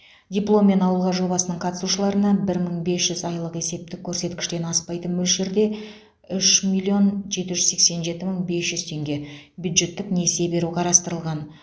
дипломмен ауылға жобасының қатысушыларына бір мың бес жүз айлық есептік көрсеткіштен аспайтын мөлшерде үш миллион жеті жүз сексен жеті мың бес жүз теңге бюджеттік несие беру қарастырылған